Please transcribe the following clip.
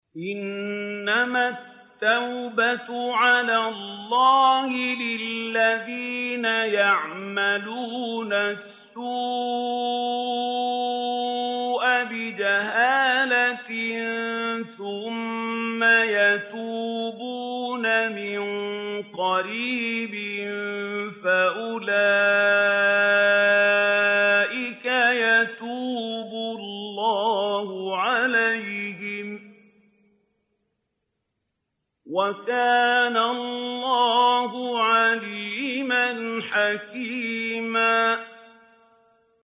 إِنَّمَا التَّوْبَةُ عَلَى اللَّهِ لِلَّذِينَ يَعْمَلُونَ السُّوءَ بِجَهَالَةٍ ثُمَّ يَتُوبُونَ مِن قَرِيبٍ فَأُولَٰئِكَ يَتُوبُ اللَّهُ عَلَيْهِمْ ۗ وَكَانَ اللَّهُ عَلِيمًا حَكِيمًا